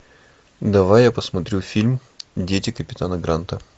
давай я посмотрю фильм дети капитана гранта